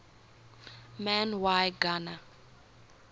man y gana